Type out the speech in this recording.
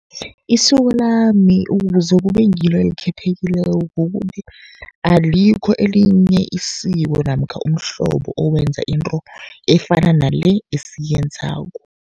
Isiko lami ukuze kube ngilo elikhethekileko, kukuthi alikho elinye isiko namkha umhlobo owenza into efana nale esiyenzako.